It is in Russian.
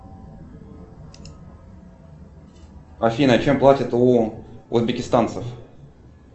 афина чем платят у узбекистанцев